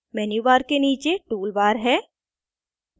menu bar के नीचे tool bar है